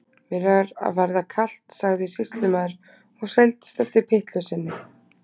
Mér er að verða kalt, sagði sýslumaður og seildist eftir pyttlu sinni.